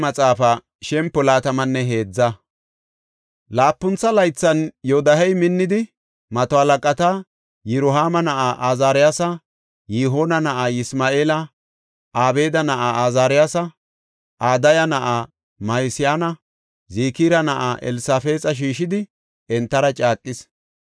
Laapuntha laythan Yoodahey minnidi mato halaqata Yirohaama na7aa Azaariyasa, Yihoona na7aa Yisma7eela, Obeeda na7aa Azaariyasa, Adaya na7aa Ma7iseyanne Zikira na7aa Elsafaaxa shiishidi entara caaqis.